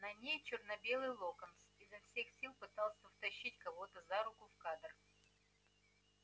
на ней чёрно-белый локонс изо всех сил пытался втащить кого-то за руку в кадр